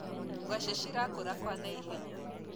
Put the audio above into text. ngwaci cirakura kwa naihenya